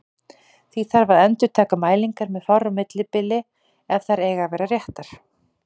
Því þarf að endurtaka mælingar með fárra ára millibili ef þær eiga að vera réttar.